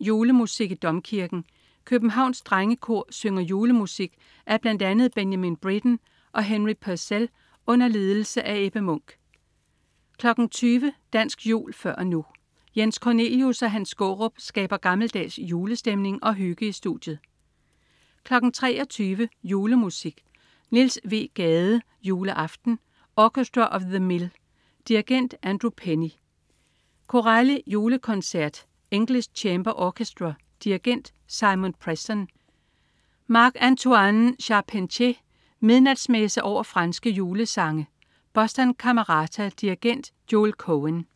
Julemusik i Domkirken. Københavns Drengekor synger julemusik af bl.a. Benjamin Britten og Henry Purcell under ledelse af Ebbe Munk 20.00 Dansk jul før og nu. Jens Cornelius og Hans Skaarup skaber gammeldags julestemning og hygge i studiet 23.00 Julemusik. Niels W. Gade: Juleaften. Orchestra of the Mill. Dirigent: Andrew Penny. Corelli: Julekoncert. English Chamber Orchestra. Dirigent: Simon Preston. Marc-Antoine Charpentier: Midnatsmesse over franske julesange. Boston Camerata. Dirigent: Joel Cohen